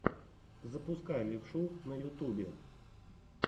запускай левшу на ютубе